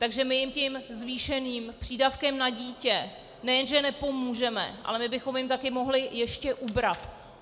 Takže my jim tím zvýšeným přídavkem na dítě nejenže nepomůžeme, ale my bychom jim také mohli ještě ubrat.